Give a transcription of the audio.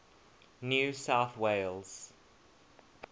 new south wales